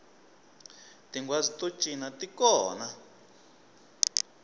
tinghwazi to cina ti kona